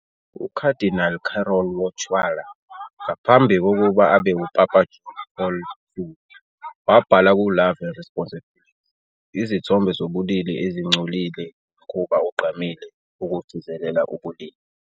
UKhadinali Karol Wojtyla, ngaphambi kokuba abe uPapa John Paul II, wabhala ku- "Love and Responsibility" - "Izithombe zobulili ezingcolile wumkhuba ogqamile wokugcizelela ubulili